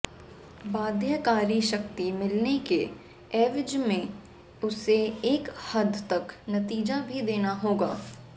बाध्यकारी शक्ति मिलने के एवज में उसे एक हद तक नतीजा भी देना होगा